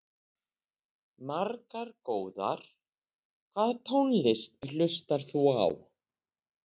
Margar góðar Hvaða tónlist hlustar þú á?